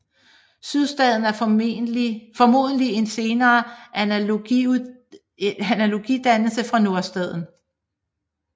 Sydstaden er formodentlig en senere analogidannelse fra Nordstaden